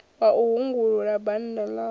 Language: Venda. wa u hungulula bannda ḽavho